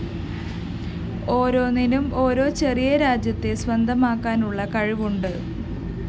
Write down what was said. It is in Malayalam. ഒരോന്നിനും ഓരോ ചെറിയ രാജ്യത്തെ സ്വന്തമാക്കാനുള്ള കഴിവുണ്ട്